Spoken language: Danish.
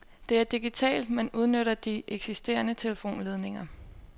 Det er digitalt, men udnytter de eksisterende telefonledninger.